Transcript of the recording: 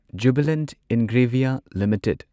Jubilant Ingrevia limited